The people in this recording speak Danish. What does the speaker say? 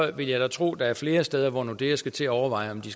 vil jeg da tro at der er flere steder hvor nordea skal til at overveje om de